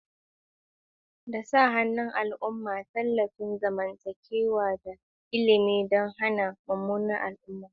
Yana ɗaukar dabaru iri-iri wanda ya haɗa da sa hannun al'umma, tallafin zamantakewa, da ilimi don hana munanan al'umma.